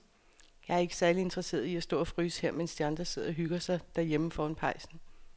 Jeg er ikke særlig interesseret i at stå og fryse her, mens de andre sidder og hygger sig derhjemme foran pejsen.